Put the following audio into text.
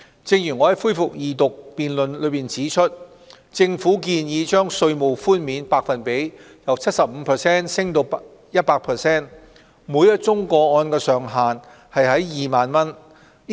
正如我在恢復二讀辯論中指出，政府建議把稅務寬免百分比由 75% 提升至 100%， 每宗個案上限2萬元。